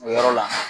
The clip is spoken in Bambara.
O yɔrɔ la